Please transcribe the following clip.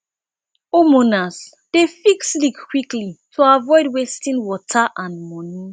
homeowners dey fix leaks quickly to avoid wasting water and money